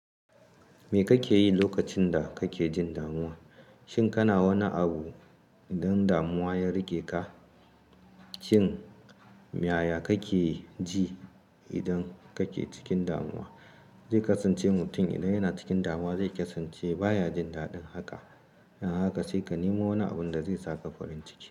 Me kake yi lokacin da kake jin damuwa? Shin kana wani abu idan damuwa ya riƙe ka? Shin, yaya kake ji idan kake cikin damuwa? Zai kasance mutum idan yana cikin damuwa, zai kasance baya jin daɗin haka. Don haka sai ka nemo wani abun da zai saka farin ciki.